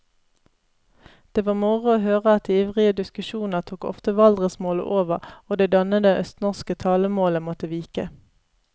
Det var moro å høre at i ivrige diskusjoner tok ofte valdresmålet over og det dannede østnorske talemålet måtte vike.